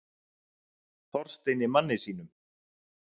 Þorsteini manni sínum.